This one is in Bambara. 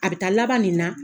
A bɛ taa laban nin na